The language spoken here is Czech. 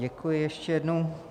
Děkuji ještě jednou.